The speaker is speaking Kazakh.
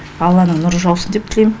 алланың нұры жаусын деп тілеймін